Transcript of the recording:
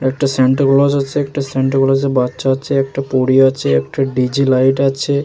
একটা সান্তাক্লস আছেএকটা সান্টাক্লস -এর বাচ্চা আছে একটা পরী আছে একটা ডি.জে লাইট আছে।